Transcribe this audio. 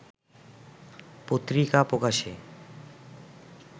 পত্রিকা প্রকাশে